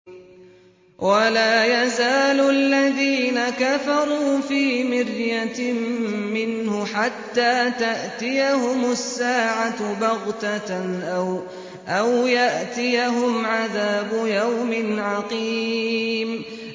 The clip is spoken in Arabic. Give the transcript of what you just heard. وَلَا يَزَالُ الَّذِينَ كَفَرُوا فِي مِرْيَةٍ مِّنْهُ حَتَّىٰ تَأْتِيَهُمُ السَّاعَةُ بَغْتَةً أَوْ يَأْتِيَهُمْ عَذَابُ يَوْمٍ عَقِيمٍ